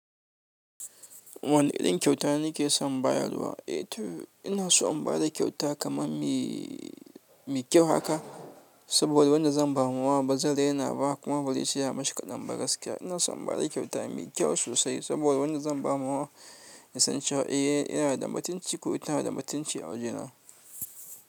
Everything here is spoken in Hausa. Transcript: Wani irin kyauta na ke son bayarwa? Eee to ina so in ba da kyauta kamar me me kyau haka. Saboda wanda zan bama wa bazai rena ba kuma bazaice ya mashi kaɗanba gaskiya. Ina so in ba da kyauta mai kyau sosai saboda wanda zan bama wa ya san cewa eh yana da matunci ko ta na da matunci a awajena.